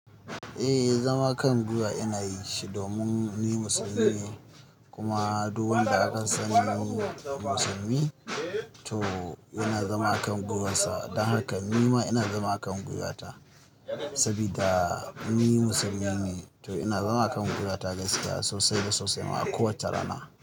Eh, zama kan gwiwa ina yinshi domin ni musulmi ne. Kuma duk wanda aka sani musulmi, to yana zama a kan gwiwarsa. Don haka nima ina zama a kan gwiwata saboda ni musulmi ne. To ina zama a kan gwiwata gaskiya sosai da sosai ma a kowace rana.